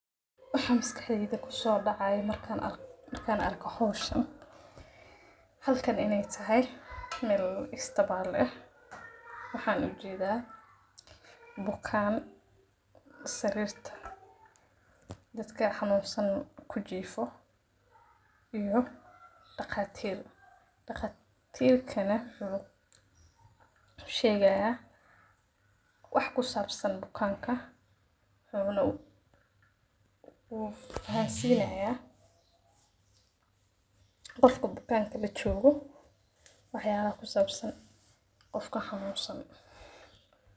Wax miskah keyga ku soo dhacay markaan ark, markaan arko hawshana. Halkan inay tahay meel istabaale, waxaan u jiidaa bukaan sarirta dadka xamuunsan ku jiifo iyo dhaqatiir. Dhaqatiirkana wuxu sheegaa ah wax ku saabsan bukaanka, marka wuxuna u, uu fahansii leeyaa qofka bukaanka la joogo. Waxyaabaha ku saabsan qofka xamuunsan.